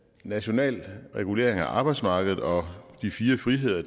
nationale regulering af arbejdsmarkedet og de fire friheder